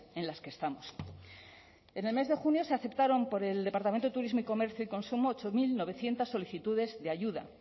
en las que estamos en el mes de junio se aceptaron por el departamento de turismo y comercio y consumo ocho mil novecientos solicitudes de ayuda